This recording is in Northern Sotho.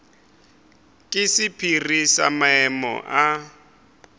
ke sephiri sa maemo a